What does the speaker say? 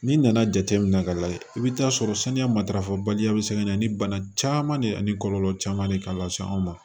N'i nana jateminɛ ka lajɛ i bɛ taa sɔrɔ saniya matarafa baliya bɛ se ka na ni bana caman de ye ani kɔlɔlɔ caman de k'a la sa an ma